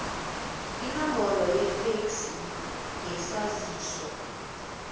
inombolo yefeksi ngesaziso